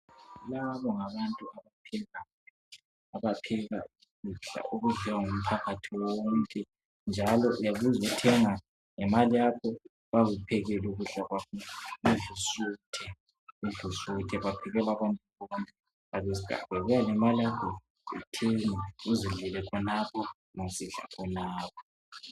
Labo ngabantu abaphekayo, abapheka ukudla okudliwa ngumphakathi wonke njalo uyabuya uzothenga ngemali yakho bayakuphekela ukudla udle usuthe buya lemali yakho uthenge nxa usidla khonapho.